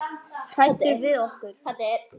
Hræddur við okkur?